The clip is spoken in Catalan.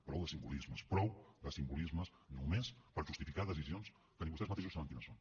prou de simbolismes prou de simbolismes només per a justificar decisions que ni vostès mateixos saben quines són